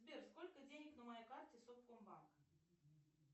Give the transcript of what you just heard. сбер сколько денег на моей карте совкомбанк